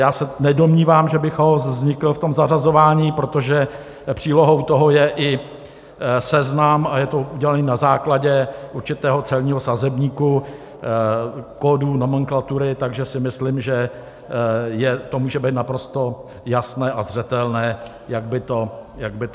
Já se nedomnívám, že by chaos vznikl v tom zařazování, protože přílohou toho je i seznam a je to udělané na základě určitého celního sazebníku, kódů nomenklatury, takže si myslím, že to může být naprosto jasné a zřetelné, jak by to mělo být.